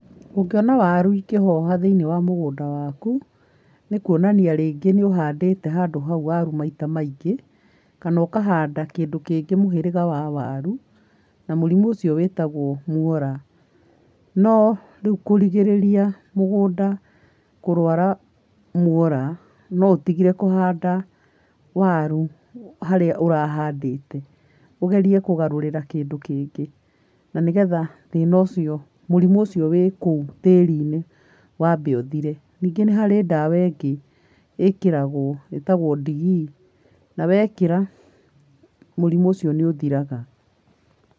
Ũngĩona waru ikĩhoha thĩiniĩ wa mũgũnda waku, nĩkuonania rĩngĩ nĩũhandĩte handũ hau waru maita maingĩ kana ũkahanda kĩndũ kĩngĩ mũhĩrĩga wa waru na mũrimũ ũcio wĩtagwo muora. No rĩu kũrigĩrĩria mũgũnda kũrwara muora no ũtigire kũhanda waru harĩa ũrahandĩte ũgerie kũgarurĩra kĩndũ kĩngĩ na nĩgetha thina ũcio, mũrimũ ũcio wĩ kuũ tĩriinĩ wambe ũthire. Ningĩ nĩharĩ ndawa ĩngĩ ĩkĩragwo ĩtagwo ndigii nawekĩra mũrimũ ũcio nĩ ũthiraga.